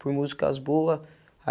Por músicas boa.